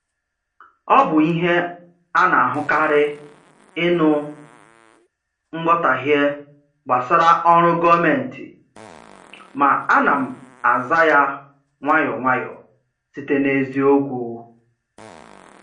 Ọ bụ ihe a na-ahụkarị ịnụ nghọtahie gbasara ọrụ gọọmentị, ma ana m aza ya nwayọ nwayọ site n’eziokwu.